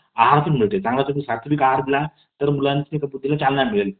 आहारातुन मिळते . चांगला तुम्ही सात्विक आहार दिलात तर बुद्धीला चालना मिळेल.